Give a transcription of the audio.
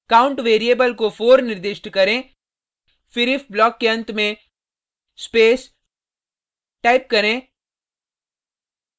count variable को 4 निर्दिष्ट करें फिर if ब्लॉक के अंत में स्पेस टाइप करें